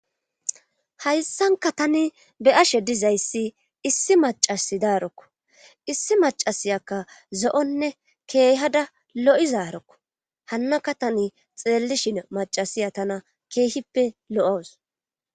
hayssanka tani be ashe dizayssi issi macasi daarokko issi macasiyakka zo7onne keehada lo7izaarokko hannaka tani xeellishin macasiya tana keehippe lo7os